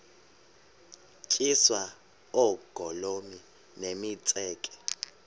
tyiswa oogolomi nemitseke